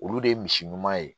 Olu de ye misi ɲuman ye